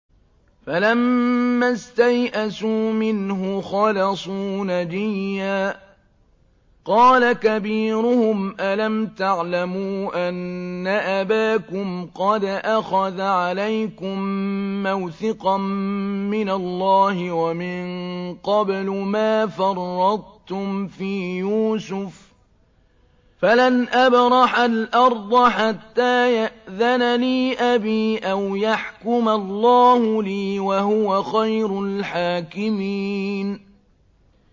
فَلَمَّا اسْتَيْأَسُوا مِنْهُ خَلَصُوا نَجِيًّا ۖ قَالَ كَبِيرُهُمْ أَلَمْ تَعْلَمُوا أَنَّ أَبَاكُمْ قَدْ أَخَذَ عَلَيْكُم مَّوْثِقًا مِّنَ اللَّهِ وَمِن قَبْلُ مَا فَرَّطتُمْ فِي يُوسُفَ ۖ فَلَنْ أَبْرَحَ الْأَرْضَ حَتَّىٰ يَأْذَنَ لِي أَبِي أَوْ يَحْكُمَ اللَّهُ لِي ۖ وَهُوَ خَيْرُ الْحَاكِمِينَ